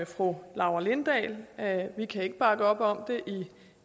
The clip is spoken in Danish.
fru laura lindahl vi kan ikke bakke op om det